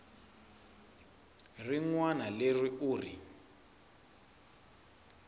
rin wana leri u ri